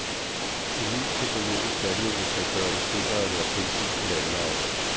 En ny teknologisk landvinding skal gøre det sikrere at være pindsvin på landevejene.